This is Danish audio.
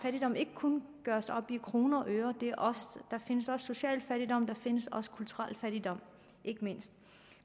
fattigdom ikke kun gøres op i kroner og øre der findes også social fattigdom og der findes også kulturel fattigdom ikke mindst